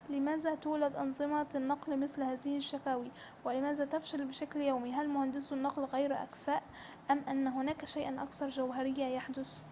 لماذا تولد أنظمة النقل مثل هذه الشكاوى ولماذا تفشل بشكل يومي هل مهندسو النقل غير أكفاء أم أن هناك شيئاً أكثر جوهرية يحدث